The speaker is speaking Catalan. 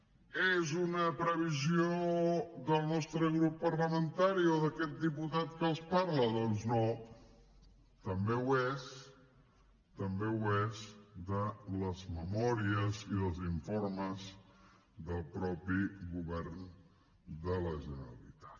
és una previsió del nostre grup parlamentari o d’a quest diputat que els parla doncs no també ho és també ho és de les memòries i dels informes del mateix govern de la generalitat